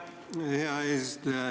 Aitäh, hea eesistuja!